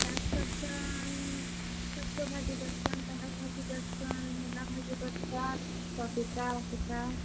ଚାଷ୍ କରସନ୍ ସୁରଷୋ ଭାଜି କରସନ୍, ପାଲ୍ ଗ ଭାଜି କରସନ୍, ମୁଲା ଭାଜି କରସନ୍ ।